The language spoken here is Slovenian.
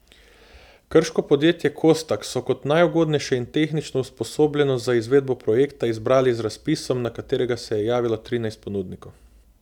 Krško podjetje Kostak so kot najugodnejše in tehnično usposobljeno za izvedbo projekta izbrali z razpisom, na katerega se je javilo trinajst ponudnikov.